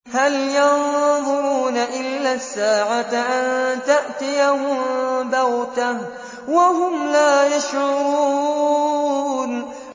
هَلْ يَنظُرُونَ إِلَّا السَّاعَةَ أَن تَأْتِيَهُم بَغْتَةً وَهُمْ لَا يَشْعُرُونَ